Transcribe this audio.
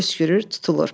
Öskürür, tutulur.